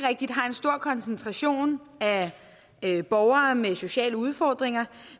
rigtigt har en stor koncentration af borgere med sociale udfordringer